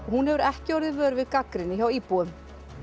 hún hefur ekki orðið vör við gagnrýni frá íbúum